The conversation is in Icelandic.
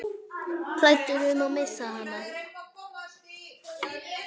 Hræddur um að missa hana.